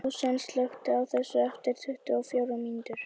Súsan, slökktu á þessu eftir tuttugu og fjórar mínútur.